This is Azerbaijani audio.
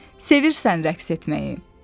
Sevirsən rəqs etməyi?